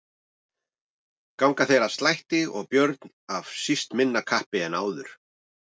Ganga þeir að slætti og Björn af síst minna kappi en áður.